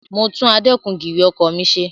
Mo tún adẹ́kun-gìrì ọkọ̀ mi ṣe.